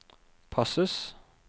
passes